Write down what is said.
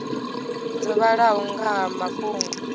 dzo vhalaho nga ha mafhungo